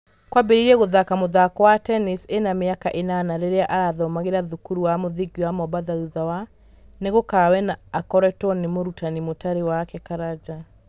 Qrambereirie gũthaka mũthako wa tennis ĩna mĩaka ĩnana rĩrĩa arathomagĩra thukuru wa mũthingi wa mombatha thutha wa .....nĩ gukawe na akĩrutwo nĩ mũrutani na mũtari wake karanja.